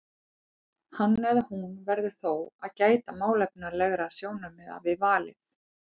Hann eða hún verður þó að gæta málefnalegra sjónarmiða við valið.